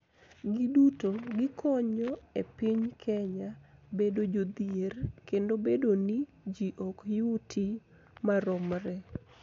Giduto gikonyo e piny Kenya bedo jodhier kendo bedo ni ji ok yuti maromre.